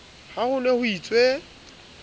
ha ho ne ho itswe